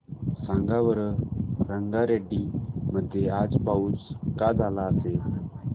सांगा बरं रंगारेड्डी मध्ये आज पाऊस का झाला असेल